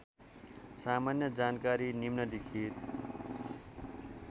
सामान्य जानकारी निम्नलिखित